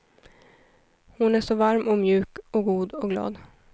Hon är så varm och mjuk och god och glad.